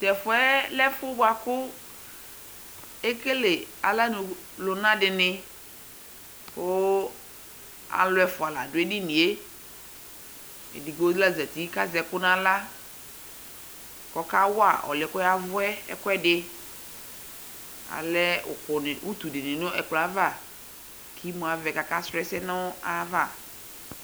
Tʋ ɛfuɛ lɛ ɛfʋ boa kʋ ekele aɣlanu lʋna di ni kʋ alʋ ɛfua la dʋ edini yɛ Edigbo la zati kʋ azɛ ɛkʋ n'aɣla kʋ ɔkawa ɔlʋ ɛ kɔyavʋ ɛ ɛkʋɛdi Alɛ ʋkʋ, utu di ni nʋ ɛkplɔ ɛ ava kʋ imu avɛ kakasɔlɔ ɛsɛ nayava